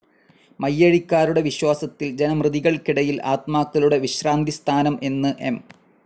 മയ്യഴിക്കാരുടെ വിശ്വാസത്തിൽ ജനിമൃതികൾക്കിടയിൽ ആത്മാക്കളുടെ വിശ്രാന്തിസ്ഥാനം എന്ന് എം.